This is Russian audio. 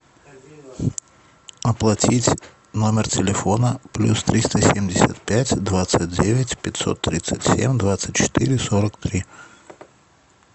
оплатить номер телефона плюс триста семьдесят пять двадцать девять пятьсот тридцать семь двадцать четыре сорок три